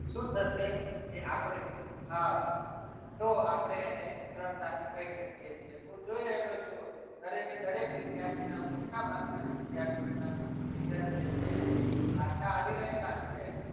શું થશે કે આપણે આ તો આપણે અને સરળતાથી કહી શકીએ છીએ હું જોઈ રહ્યો છું દરેકે દરેક વિદ્યાર્થીના મોટાભાગના વિદ્યાર્થીઓના result જે છે એ પાછા આવી રહેલા છે.